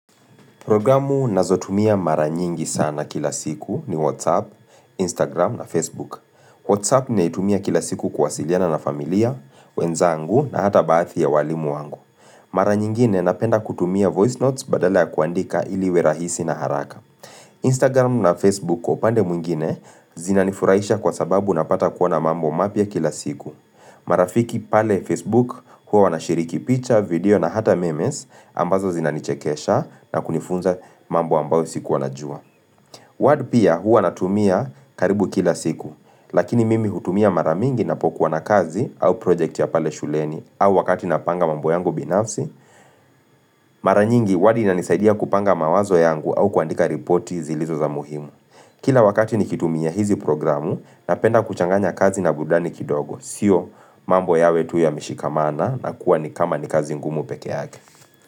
Programu ninazotumia mara nyingi sana kila siku ni Whatsapp, Instagram na Facebook. Whatsapp ninaitumia kilasiku kuwasiliana na familia, wenzangu na hata baadhi ya walimu wangu. Mara nyingine napenda kutumia voice notes badala ya kuandika ili iwe rahisi na haraka. Instagram na Facebook kwa upande mwingine zinanifurahisha kwasababu napata kuona mambo mapia kila siku. Marafiki pale Facebook huwa wanashiriki picha, video na hata memes ambazo zinanichekesha na kunifunza mambo ambayo sikuwa najua Wad pia huwa natumia karibu kila siku Lakini mimi hutumia maramingi ninapokuwa na kazi au project ya pale shuleni au wakati napanga mambo yangu binafsi Mara nyingi wadi inanisaidia kupanga mawazo yangu au kuandika reporti zilizo za muhimu Kila wakati nikitumia hizi programu napenda kuchanganya kazi na burudani kidogo Sio mambo yawe tu yameshikamana na kuwa ni kama ni kazi ngumu peke yake.